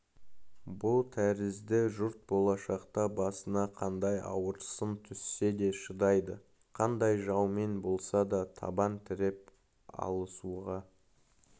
бұ тәрізді жұрт болашақта басына қандай ауыр сын түссе де шыдайды қандай жаумен болса да табан тіреп алысуға